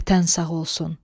Vətən sağ olsun!